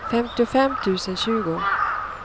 femtiofem tusen tjugo